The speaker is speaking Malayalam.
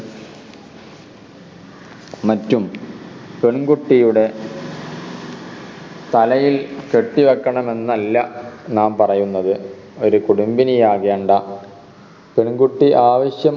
മറ്റും പെൺകുട്ടിയുടെ തലയിൽ കെട്ടിവക്കണം എന്നല്ല ഞാൻ പറയുന്നത് ഒരു കുടുംബിനി ആകേണ്ട പെൺകുട്ടി ആവിശ്യം